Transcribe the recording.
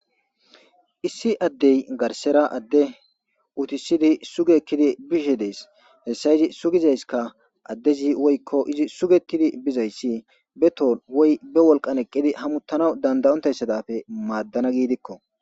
Issi adey garsera adey utisidi sugi ekidi bishe des heysa sugizaysikka adezi woyko izi sugetidi bizaysi be tohon woy be wolqan eqidi hamutanawu danda'ontaysa madana gidiko.